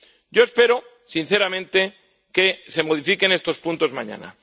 Yo espero, sinceramente, que se modifiquen estos puntos mañana.